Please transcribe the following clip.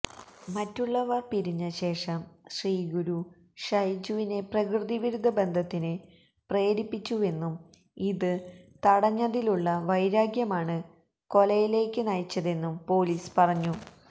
മറ്റുള്ളവർ പിരിഞ്ഞശേഷം ശ്രീഗുരു ഷൈജുവിനെ പ്രകൃതിവിരുദ്ധ ബന്ധത്തിന് പ്രേരിപ്പിച്ചുവെന്നും ഇത് തടഞ്ഞതിലുള്ള വൈരാഗ്യമാണ് കൊലയിലേക്ക് നയിച്ചതെന്നും പൊലീസ് പറഞ്ഞു